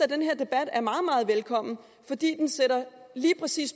den her debat er meget meget velkommen fordi den lige præcis